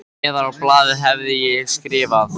Neðar á blaðið hef ég skrifað